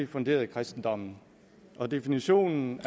funderet i kristendommen og definitionen